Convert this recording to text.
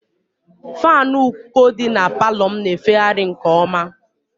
Faanụ uko dị na palọ m na-efegharị nke ọma